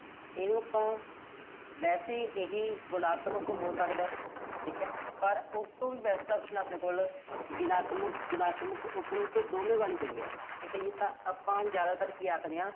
ਇਹ ਤੋਂ, ਵੈਸੇ ਇਹ ਗੁਣਾਤਮਕ ਹੋ ਸਕਦਾ। ਪਰ ਇਸ ਤੋਂ ਵੀ best option ਆ ਆਪਣੇ ਕੋਲ ਗੁਣਾਤਮਕ, ਰਿਣਾਤਮਕ ਦੋਵਾਂ ਵਾਲੀ ਪਈ ਐ। ਠੀਕ ਐ ਜੀ ਆਪਾਂ। ਆਪਾਂ ਹੁਣ ਜ਼ਿਆਦਾਤਰ ਕੀ ਆਖਦੇ ਆਂ।